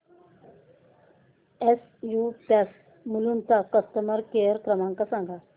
SU pumps Mulund चा customer care क्रमांक सांगा